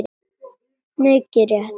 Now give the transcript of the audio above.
Mikið rétt.